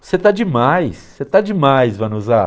você está demais, você está demais, Vanuza.